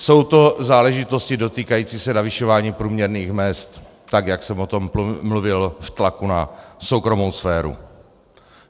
Jsou to záležitosti dotýkající se navyšování průměrných mezd, tak jak jsem o tom mluvil, v tlaku na soukromou sféru.